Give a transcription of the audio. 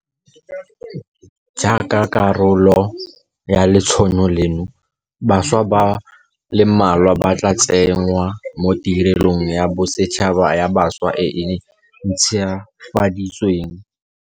Jaaka karolo ya letsholo leno, bašwa ba le mmalwa ba tla tsenngwa mo Tirelong ya Bosetšhaba ya Bašwa e e ntšhwafaditsweng.